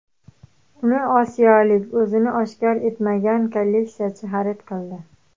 Uni osiyolik o‘zini oshkor etmagan kolleksiyachi xarid qildi.